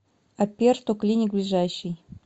аперто клиник ближайший